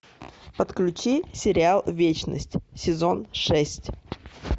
подключи сериал вечность сезон шесть